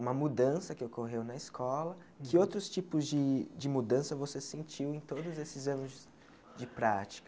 uma mudança que ocorreu na escola, que outros tipos de de mudança você sentiu em todos esses anos de prática?